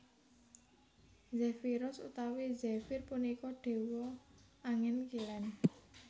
Zefiros utawi Zefir punika dewa angin kilen